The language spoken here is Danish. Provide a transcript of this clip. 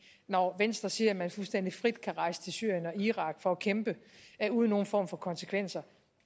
når venstre siger at man fuldstændig frit kan rejse til syrien og irak for at kæmpe uden nogen form for konsekvenser